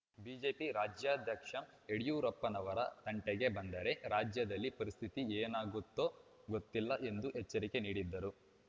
BJP ರಾಜ್ಯಾಧ್ಯಕ್ಷ ಯಡಿಯೂರಪ್ಪನವರ ತಂಟೆಗೆ ಬಂದರೆ ರಾಜ್ಯದಲ್ಲಿ ಪರಿಸ್ಥಿತಿ ಏನಾಗುತ್ತೋ ಗೊತ್ತಿಲ್ಲ ಎಂದು ಎಚ್ಚರಿಕೆ ನೀಡಿದರು